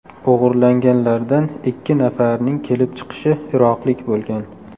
O‘g‘irlanganlardan ikki nafarining kelib chiqishi iroqlik bo‘lgan.